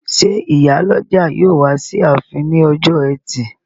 Ṣé ìyálọ́jà yóò wá sí ààfin ní ọjọ́ ẹtì?